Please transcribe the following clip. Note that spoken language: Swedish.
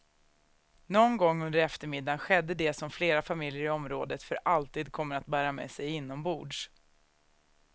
Någon gång under eftermiddagen skedde det som flera familjer i området för alltid kommer att bära med sig inombords.